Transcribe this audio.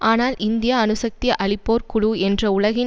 ஆனால் இந்தியா அணுசக்தி அளிப்போர் குழு என்ற உலகின்